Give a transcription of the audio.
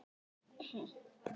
Nei, í sjálfu sér ekki.